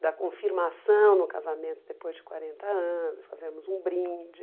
da confirmação no casamento depois de quarenta anos, fazermos um brinde.